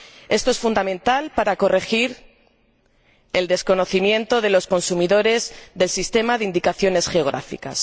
Esto es fundamental para corregir el desconocimiento de los consumidores del sistema de indicaciones geográficas.